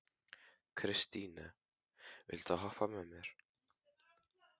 Kristine, viltu hoppa með mér?